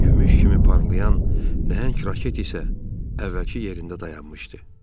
Gümüş kimi parlayan nəhəng raket isə əvvəlki yerində dayanmışdı.